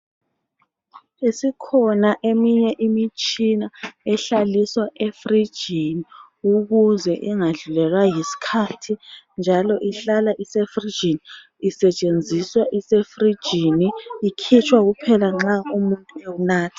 Isikhona eminye imithi esihlaliswa efrijini ukuze ingadlulelwa yisikhathi, njalo ihlala isefrijini. Isetshenziswa isefrijini. lkhitshwa kuphela nxa umuntu ewunatha.